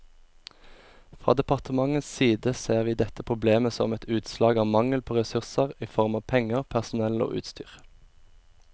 Fra departementets side ser vi dette problemet som et utslag av mangel på ressurser i form av penger, personell og utstyr.